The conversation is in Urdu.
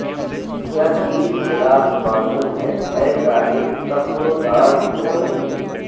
کیا چیز خلاف قانون ہے اے صاحب تخت و تاج و نگیں